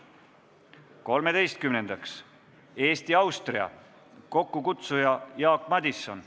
Kolmeteistkümnendaks, Eesti-Austria, kokkukutsuja on Jaak Madison.